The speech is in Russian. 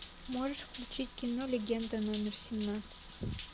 можешь включить кино легенда номер семнадцать